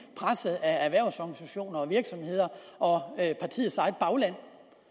presset af erhvervsorganisationer og virksomheder og af partiets eget bagland